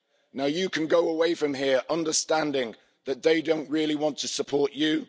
Now you can go away from here understanding that they don't really want to support you.